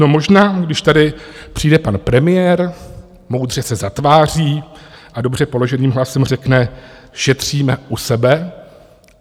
No, možná, když tady přijde pan premiér, moudře se zatváří a dobře položeným hlasem řekne: Šetříme u sebe.